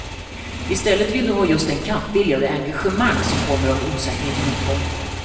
I stället vill de ha just den kampvilja och det engagemang som kommer av en osäkerhet om utgången.